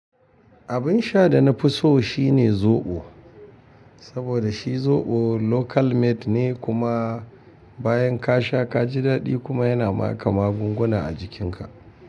Abin sha da na fi so shine zoɓo. Saboda shi zoɓo local made ne kuma bayan ka sha ka ji daɗi kuma yana ma ka magunguna a jikinka.